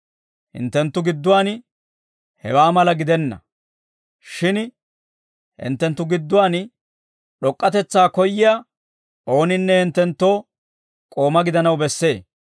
Hinttenttu gidduwaan hewaa mala gidenna; shin hinttenttu gidduwaan d'ok'k'atetsaa koyyiyaa ooninne hinttenttoo k'ooma gidanaw bessee.